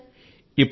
అవును సర్